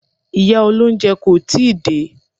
Ìyá olóúnjẹ kò tíì dé.